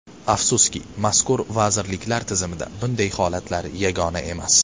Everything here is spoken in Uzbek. Afsuski, mazkur vazirliklar tizimida bunday holatlar yagona emas.